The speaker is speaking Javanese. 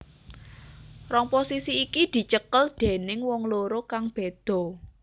Rong posisi iki dicekel déning wong loro kang beda